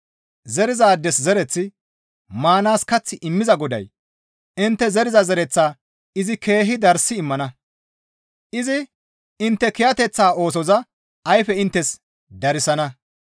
Zerizaades zereththi, maanaas kath immiza Goday intte zeriza zereththaa izi keehi darssi immana; izi intte kiyateththa oosoza ayfe inttes darsana.